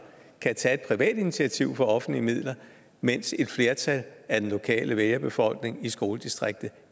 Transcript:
kan tage et privat initiativ for offentlige midler mens et flertal af den lokale vælgerbefolkning i skoledistriktet